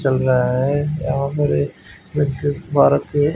चल रहा है। यहां पर एक व्यक्ति पार्क में--